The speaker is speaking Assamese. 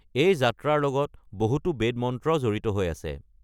এই যাত্ৰাৰ লগত বহুতো বেদ মন্ত্ৰ জড়িত হৈ আছে।